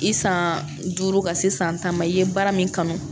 I san duuru ka se san tan ma i ye baara min kanu